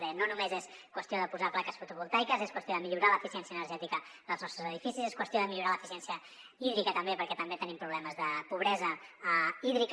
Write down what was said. deia no només és qüestió de posar plaques fotovoltaiques és qüestió de millorar l’eficiència energètica dels nostres edificis és qüestió de millorar l’eficiència hídrica també perquè també tenim problemes de pobresa hídrica